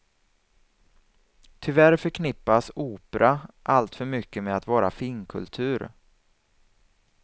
Tyvärr förknippas opera alltför mycket med att vara finkultur.